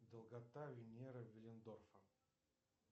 долгота венеры виллендорфа